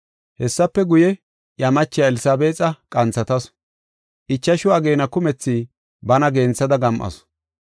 Hessafe guye, iya machiya Elsabeexa qanthatasu. Ichashu ageena kumethi bana genthada gam7asu.